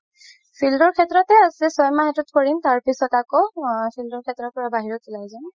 field ৰ শেত্ৰতে আছে চয় মাহ সেইটোত কৰিম তাৰ পিছত আকৌ আ field ৰ শেত্ৰৰ পৰা বাহিৰত উলাই যাম